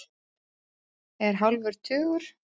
Er hálfur tugur.